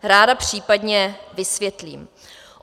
Ráda případně vysvětlím.